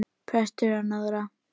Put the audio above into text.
Prestur að norðan!